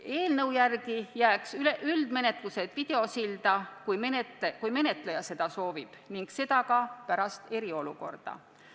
Eelnõu järgi toimuks üldmenetlus videosilla vahendusel, kui menetleja seda soovib, ning seda ka pärast eriolukorda.